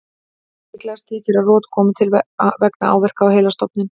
Líklegast þykir að rot komi til vegna áverka á heilastofninn.